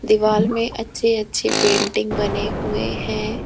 दीवाल में अच्छे अच्छे पेंटिंग बने हुए है।